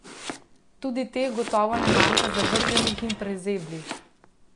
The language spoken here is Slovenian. Tudi teh gotovo ne manjka zavrženih in prezeblih?